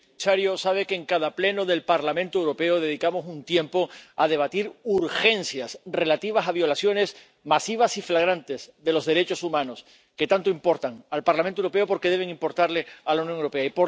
Señor presidente, señor comisario, sabe que en cada Pleno del Parlamento Europeo dedicamos un tiempo a debatir urgencias relativas a violaciones masivas y flagrantes de los derechos humanos, que tanto importan al Parlamento Europeo porque deben importarle a la Unión Europea.